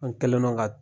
An kɛlen don ka